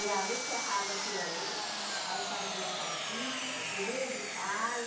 E ali serrava aquilo ali, aí fazia casinha, cobria de palha.